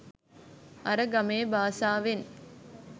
අර ගමේ බාසාවෙන්